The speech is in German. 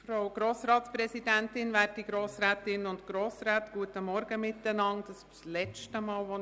Es ist das letzte Mal, dass ich Ihnen einen guten Morgen wünschen kann.